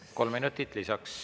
Kolm minutit lisaks.